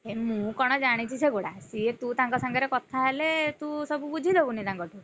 ହେ ମୁଁ କଣ ଜାଣିଚି ସେଗୁଡା ସେ ତୁ ତାଙ୍କ ସାଙ୍ଗରେ କଥାହେଲେ ତୁ ସବୁ ବୁଝିଦବୁନି ତାଙ୍କ ଠୁ।